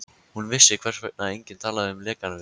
Hún vissi, hvers vegna enginn talaði um lekann við